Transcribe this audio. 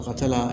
A ka ca la